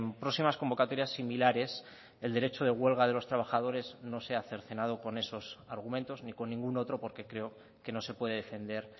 próximas convocatorias similares el derecho de huelga de los trabajadores no sea cercenado con esos argumentos ni con ningún otro porque creo que no se puede defender